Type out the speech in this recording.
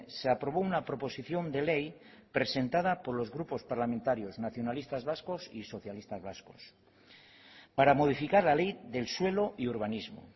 se aprobó una proposición de ley presentada por los grupos parlamentarios nacionalistas vascos y socialistas vascos para modificar la ley del suelo y urbanismo